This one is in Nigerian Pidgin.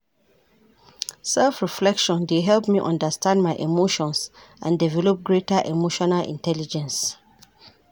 Self-reflection dey help me understand my emotions and develp greater emotional intelligence.